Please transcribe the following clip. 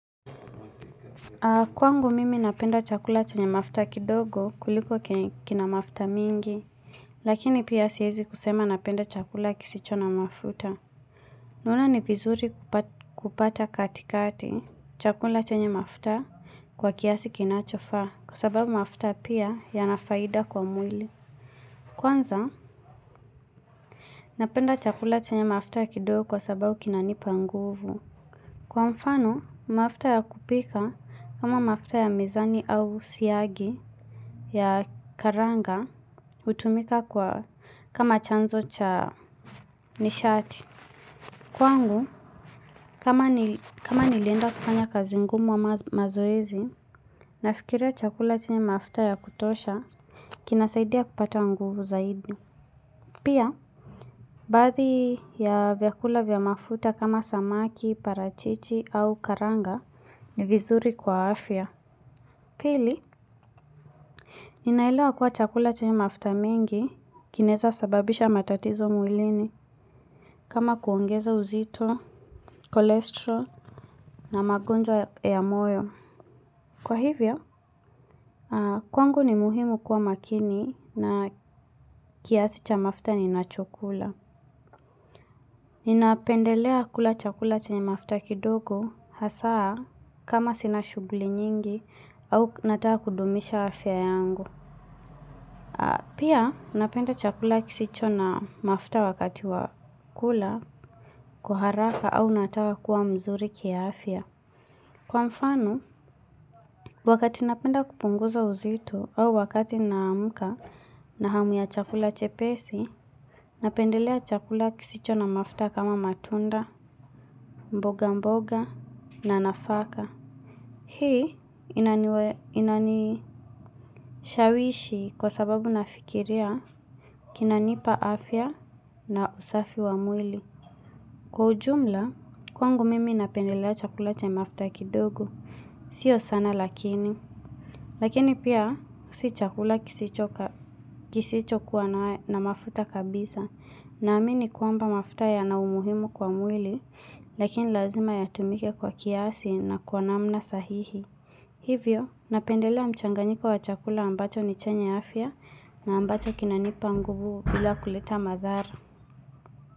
Kwangu mimi napenda chakula chenye mafuta kidogo kuliko kina mafuta mingi, lakini piya sihezi kusema napenda chakula kisicho namafuta. Naona ni vizuri kupata katikati chakula chenye mafuta kwa kiasi kinachofa kwa sababu mafuta pia yana faida kwa mwili. Kwanza, napenda chakula chenye mafuta kidogo kwa sababu kinanipa nguvu. Kwa mfano, mafta ya kupika kama mafta ya mizani au siagi ya karanga utumika kama chanzo cha nishati. Kwangu, kama nilenda kufanya kazi ngumu ama mazoezi, nafikiria chakula chenye mafta ya kutosha, kinasaidia kupata nguvu zaidi. Pia, bathi ya vyakula vya mafuta kama samaki, parachichi au karanga ni vizuri kwa afya. Pili, ninaelewa kuwa chakula chenye mafta mingi kineza sababisha matatizo mwilini kama kuongeza uzito, kolesterol na magonjwa ya moyo. Kwa hivyo, kwangu ni muhimu kuwa makini na kiasi cha mafta nina cho kula. Ninapendelea kula chakula chenye mafta kidogo hasaa kama sina shuguli nyingi au nataka kudumisha afia yangu. Pia napenda chakula kisicho na mafta wakati wakula kuaharaka au nataha kuwa mzuri kia afia. Kwa mfano, wakati napenda kupunguza uzito au wakati namuka na hamu ya chakula chepesi, napendelea chakula kisicho na mafta kama matunda, mboga mboga na nafaka. Hii inanishawishi kwa sababu nafikiria kinanipa afya na usafi wa mwili. Kwa ujumla, kwangu mimi napendelea chakula cha mafuta kidogo, sio sana lakini, lakini pia si chakula kisicho kuwa na mafuta kabisa, na amini kuamba mafuta ya na umuhimu kwa mwili, lakini lazima yatumike kwa kiasi na kuwa namna sahihi. Hivyo, napendelea mchanganiko wa chakula ambacho ni chenye afya na ambacho kinanipa nguvu bila kuleta madhara.